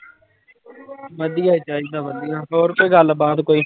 ਵਧੀਆ ਚਾਹੀਦਾ ਵਧੀਆ, ਹੋਰ ਕੋਈ ਗੱਲਬਾਤ ਕੋਈ।